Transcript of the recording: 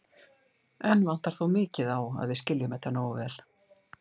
Enn vantar þó mikið á að við skiljum þetta nógu vel.